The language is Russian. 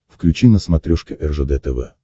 включи на смотрешке ржд тв